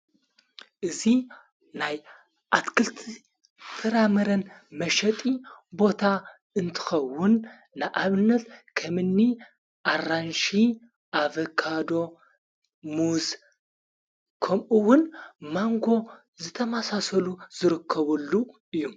እዙ ናይ ኣትክልቲ ፍራመረን መሸጢ ቦታ እንትኸውን ንኣብነት ከምኒ ኣራንሽ ኣፌካዶ ሙዝ ከምኡውን ማንጎ ዝተማሣሰሉ ዝርከበሉ እዩ፡፡